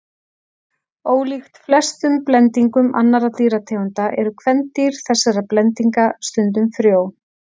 Ólíkt flestum blendingum annarra dýrategunda eru kvendýr þessara blendinga stundum frjó.